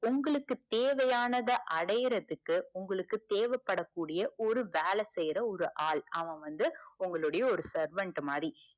உங்களுக்கு தேவையானத அடையறதுக்கு உங்களுக்கு தேவபடக்கூடிய ஒரு வேல செய்ற ஒரு ஆள். அவன் வந்து உங்களுடைய ஒரு servant மாதிரி,